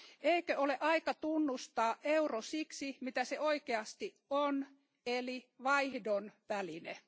Eikö ole aika tunnustaa euro siksi, mitä se oikeasti on, eli vaihdon väline?